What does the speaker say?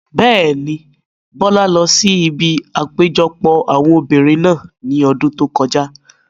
Bẹ́ẹ̀ni, Bọ́lá lọ sí ibi àpéjọpọ̀ àwọn obìrin náà ní ọdún tó kọjá